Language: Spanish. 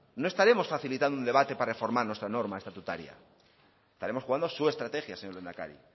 no estaremos facilitando un debate para reformar nuestra norma estatutaria estaremos jugando su estrategia señor lehendakari